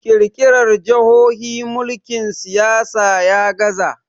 kirkirar jahohi mulkin siyasa ya gaza